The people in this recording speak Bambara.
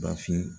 Bafin